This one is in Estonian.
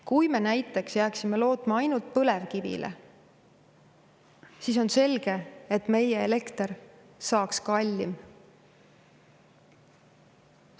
Kui me näiteks jääksime lootma ainult põlevkivile, siis on selge, et meie elekter saaks olema kallim.